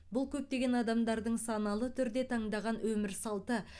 бұл көптеген адамдардың саналы түрде таңдаған өмір салты